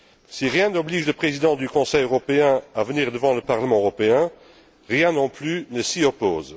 Si rien n'oblige le président du Conseil européen à venir devant le Parlement européen, rien non plus ne s'y oppose.